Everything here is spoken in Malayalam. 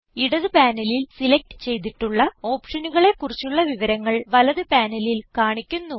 ഇടത് പാനലിൽ സിലക്റ്റ് ചെയ്തിട്ടുള്ള ഓപ്ഷനുകളെ കുറിച്ചുള്ള വിവരങ്ങൾ വലത് പാനലിൽ കാണിക്കുന്നു